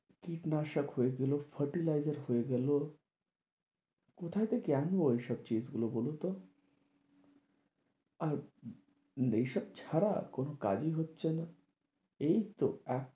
কীটনাশক হয়ে গেলো fertilizer হয়ে গেলো কোথায় থেকে আনবো এসব গুলো বলুন তো আর এসব ছাড়া কোনো কাজই হচ্ছে না এই তো